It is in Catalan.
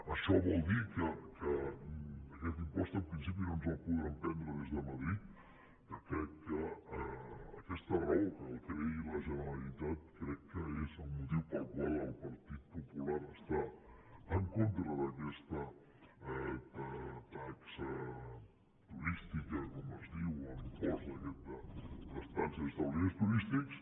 això vol dir que aquest impost en principi no ens el podran prendre des de madrid que crec que aquesta raó que el creï la generalitat és el motiu pel qual el partit popular està en contra d’aquesta taxa turística com es diu o l’impost aquest d’estada en establiments turístics